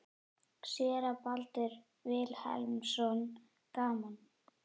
Séra Baldur Vilhelmsson: Gaman?